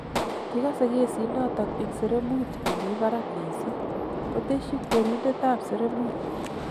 Kikase kesit notok eng' sereemut nemi parak missing, koteshi kweriindetap sereemut